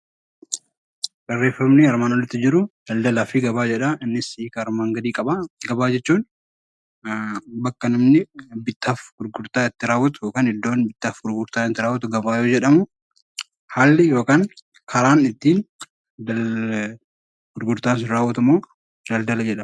Gabaa jechuun bakka namni bittaa fi gurgurtaa itti raawwatu yoo ta'u, haalli yookaan karaan gurgurtaan itti raawwatu immoo daldala jedhama